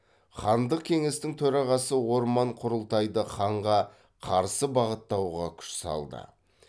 хандық кеңестің төрағасы орман құрылтайды ханға қарсы бағыттауға күш салды